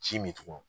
Ji min tun